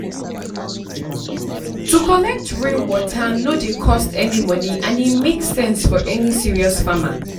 to collect rainwater no dey cost any money and e make sense for any serious farmer.